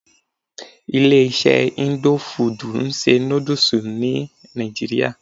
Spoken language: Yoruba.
Ilé iṣé indo fudù ń ṣe nódúsì ní nàìjíría.